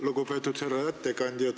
Lugupeetud härra ettekandja!